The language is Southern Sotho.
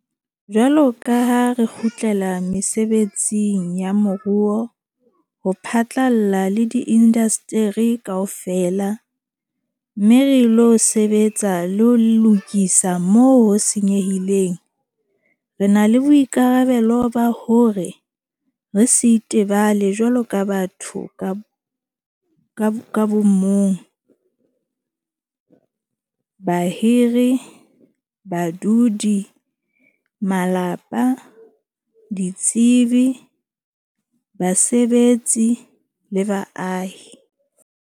Jwalo ka ha re kgutlela mesebetsing ya moruo ho phatlalla le diindasteri kaofela - mme re ilo sebetsa le ho lokisa moo ho senyehileng - re na le boikarabelo ba hore re se itebale jwaloka batho ka bo mong, bahiri, badudi, malapa, ditsebi, basebetsi le baahi.